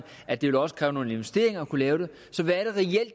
at det også vil kræve nogle investeringer at kunne lave det så hvad er